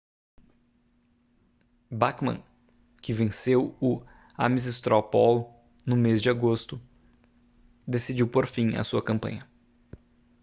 bachmann que venceu o ames straw poll no mês de agosto decidiu pôr fim a sua campanha